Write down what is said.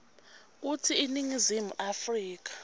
kutsi iningizimu afrika